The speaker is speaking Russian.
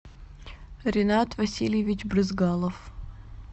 ренат васильевич брызгалов